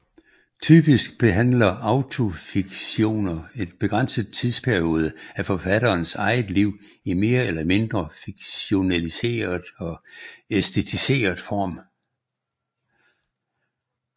Typisk behandler autofiktioner en begrænset tidsperiode af forfatterens eget liv i mere eller mindre fiktionaliseret og æsteticeret form